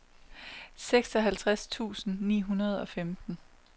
seksoghalvtreds tusind ni hundrede og femten